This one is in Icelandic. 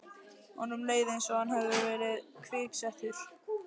Honum leið einsog hann hefði verið kviksettur.